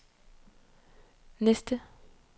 næste